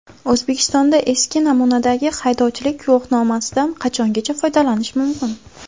O‘zbekistonda eski namunadagi haydovchilik guvohnomasidan qachongacha foydalanish mumkin?.